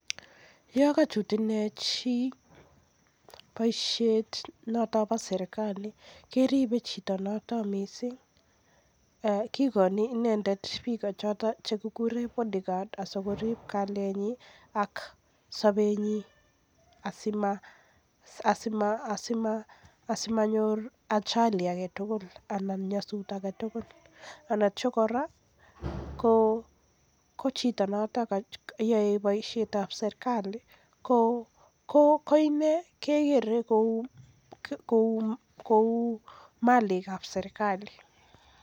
Yo kochut inei chi boisie notok bo serkali keribe chito noto missing kikoni bichotok kikuren bodyguard asikorib kalyenyin ak sobenyin asimonyor ajali aketugul anan kora ko chito neyoe boisiet ab serkali koine kekere kou malik ab serkali.